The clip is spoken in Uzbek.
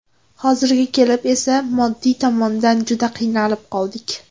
Hozirga kelib esa moddiy tomondan juda qiynalib qoldik.